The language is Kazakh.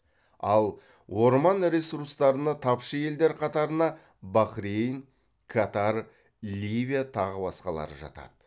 ал орман ресурстарына тапшы елдер қатарына бахрейн катар ливия тағы басқалары жатады